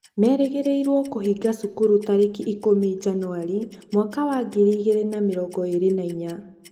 merĩgĩrĩirwo kũhinga cukuru tarĩki ikũmi, njanuari, mwaka wa ngiri igĩrĩ na mĩrongo ĩrĩ na inya.